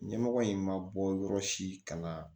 Ɲɛmɔgɔ in ma bɔ yɔrɔ si ka na